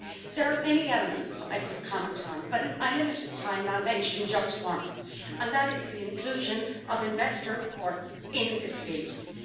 There are many elements I could comment on, but in my limited time I will mention just one, and that is the inclusion of investor courts in this deal.